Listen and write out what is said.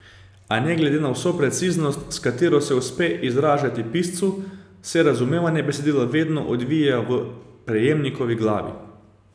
A ne glede na vso preciznost, s katero se uspe izražati piscu, se razumevanje besedila vedno odvija v prejemnikovi glavi ...